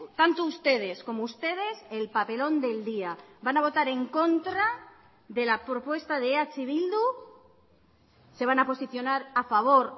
tanto ustedes como ustedes el papelón del día van a votar en contra de la propuesta de eh bildu se van a posicionar a favor